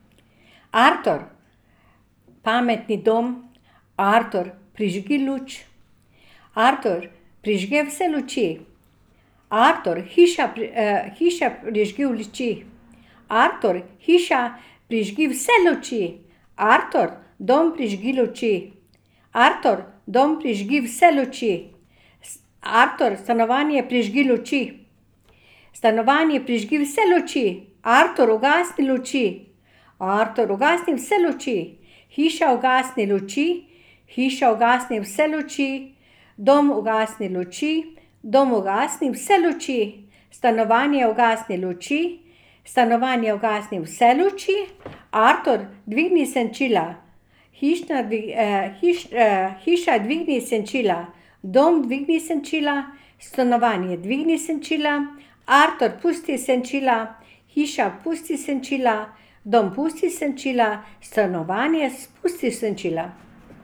Artur. Pametni dom. Artur, prižgi luč. Artur, prižge vse luči. Artur, hiša, hiša prižgi luči. Artur, hiša, prižgi vse luči. Artur, dom, prižgi luči. Artur, dom, prižgi vse luči. Artur, stanovanje, prižgi luči. Stanovanje, prižgi vse luči. Artur, ugasni luči. Artur, ugasni vse luči. Hiša, ugasni luči. Hiša, ugasni vse luči. Dom, ugasni luči. Dom, ugasni vse luči. Stanovanje, ugasni luči. Stanovanje, ugasni vse luči. Artur, dvigni senčila. Hišna, hiša, dvigni senčila. Dom, dvigni senčila. Stanovanje, dvigni senčila. Artur, pusti senčila. Hiša, pusti senčila. Dom, pusti senčila. Stanovanje, spusti senčila.